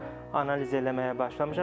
Analiz eləməyə başlamışam.